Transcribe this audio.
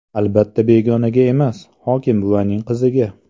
Albatta begonaga emas, hokimbuvaning qiziga .